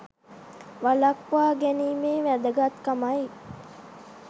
වළක්වා ගැනීමේ වැදගත්කමයි